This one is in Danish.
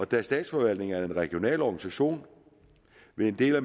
da statsforvaltningen er en regional organisation vil en del af